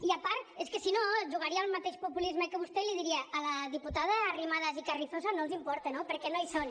i a part és que si no jugaria al mateix populisme que vostè i li diria a la diputada arrimadas i carrizosa no els importa no perquè no hi són